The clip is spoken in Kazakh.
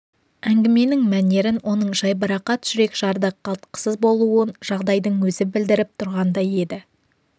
әңгіменің мәнерін оның жайбарақат жүрекжарды қалтқысыз болуын жағдайдың өзі білдіріп тұрғандай еді